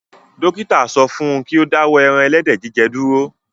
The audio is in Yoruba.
Dókítà sọ fún un kí ó dáwọ́ ẹran ẹlẹ́dẹ̀ jíjẹ dúró